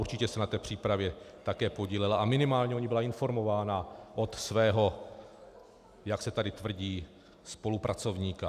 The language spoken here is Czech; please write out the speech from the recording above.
Určitě se na té přípravě také podílela a minimálně o ní byla informována od svého, jak se tady tvrdí, spolupracovníka.